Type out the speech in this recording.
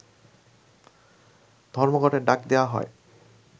ধর্মঘটের ডাক দেয়া হয়